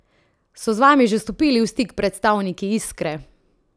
So z vami že stopili v stik predstavniki Iskre?